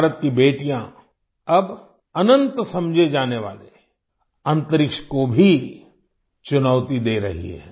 भारत की बेटियां अब अनंत समझे जाने वाले अंतरिक्ष को भी चुनौती दे रही हैं